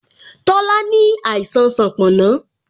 Tola ní àìsàn sanponna